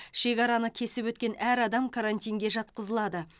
шекараны кесіп өткен әр адам карантинге жатқызылады